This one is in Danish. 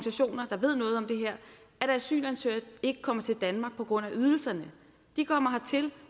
asylansøgere ikke kommer til danmark på grund af ydelserne de kommer hertil